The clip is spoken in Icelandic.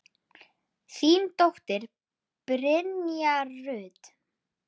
Þín dóttir, Brynja Rut.